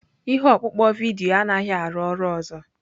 Ihe ọkpụkpọ vidiyo anaghị arụ ọrụ ọzọ.